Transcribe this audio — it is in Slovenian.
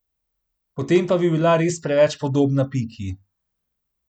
Potem bi bila res preveč podobna Piki.